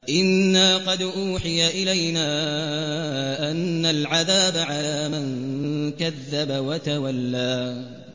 إِنَّا قَدْ أُوحِيَ إِلَيْنَا أَنَّ الْعَذَابَ عَلَىٰ مَن كَذَّبَ وَتَوَلَّىٰ